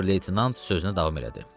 Ober-leytenant sözünə davam elədi.